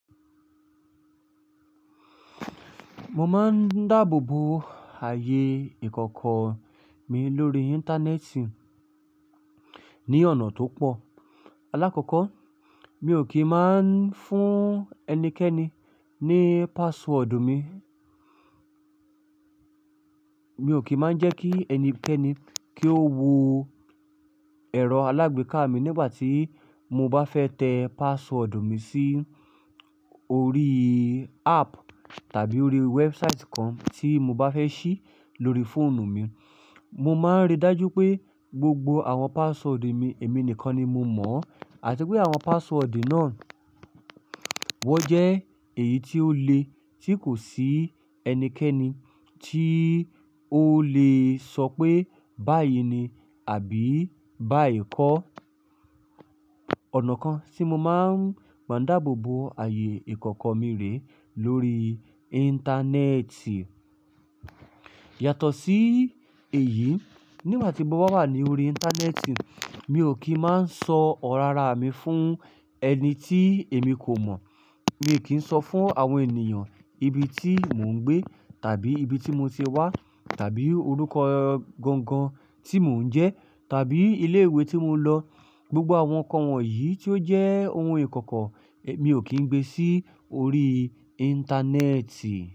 Mo máa ń dáàbò bo ààyè ìkọ̀kọ̀ mi lórí Íńtánẹ́ẹ̀tì ní ọ̀nà tó pọ̀. Alákọ̀kọ́, mi ò kí ń máa ń fún ẹnikẹ́ni ní password mi. Mi ò kí ń máa ń jẹ́ kí ẹnikẹ́ni kí ó wo ẹ̀rọ alágbèéká mi nígbà tí mo bá fẹ́ tẹ password mi sí orí app tàbí orí website kan tí mo bá fẹ́ ṣí lórí fóònù mi. Mo máa ń rí dájú pé gbogbo àwọn password mi èmi nìkan ni mo mọ̀ àti pé àwọn password náà wọ́n jẹ́ èyí tí ó le tí kò sí ẹnikẹ́ni tí ó lè sọ pé báyìí ni àbí báyii kọ́. Ọ̀nà kan tí mo máa gba dáàbò bo ààyè ìkọ̀kọ̀ mi rè lórí Íńtánẹ́ẹ̀tì. Yàtọ̀ sí èyí, nígbà tí mo bá wà ní orí Íńtánẹ́ẹ̀tì, mi ò kí ń máa ń sọ ọ̀rọ̀ ara mi fún ẹni tí èmi kò mọ̀. Mi ò kí ń sọ fún àwọn ènìyàn ibi tí mò ń gbé tàbí ibi tí mo ti wá tàbí orúkọ gangan tí mò ń jẹ́ tàbí ilé ìwé tí mo lọ. Gbogbo àwọn ǹkan wọ̀nyí tí ó jẹ́ ohun ìkọ̀kọ̀ mi ò kí ń gbe sí orí Íńtánẹ́ẹ̀tì.